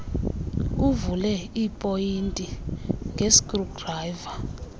uvule iipoyinti ngeskrudrayiva